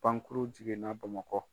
Pankurun jiginna Bamakɔ.